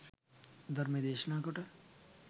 ධර්මය දේශනා කරන කොට